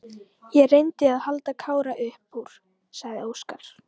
Ég reyndi að halda Kára upp úr, sagði Óskar.